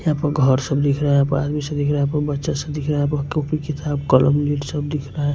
यहां पर घर सब दिख रहा है सा दिख रहा है बच्चा सब दिख रहा है कॉपी किताब कलम लीड सब दिख रहा है।